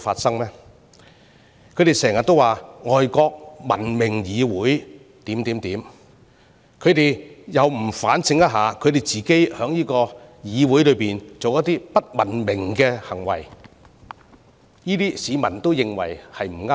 他們經常提到外國文明議會的種種情況，但卻不反省自己在議會內作出的不文明行為，況且市民亦認為並不妥當。